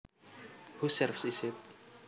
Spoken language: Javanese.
Whose serve is it